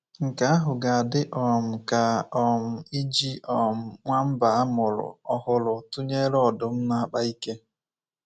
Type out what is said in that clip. Nke ahụ ga-adị um ka um iji um nwamba a mụrụ ọhụrụ tụnyere ọdụm na-akpa ike.